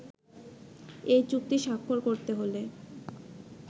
এই চুক্তি স্বাক্ষর করতে হলে